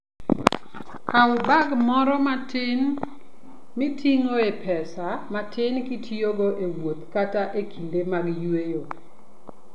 Kaw bag moro matin miting'o pesa matin kitiyogo e wuoth kata e kinde mag yueyo.